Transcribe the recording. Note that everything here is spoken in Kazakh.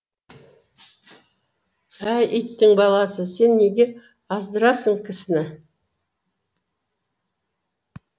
әй иттің баласы сен неге аздырасың кісіні